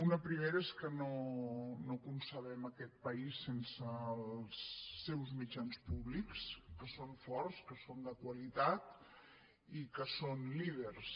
una primera és que no concebem aquest país sense els seus mitjans públics que són forts que són de qualitat i que són líders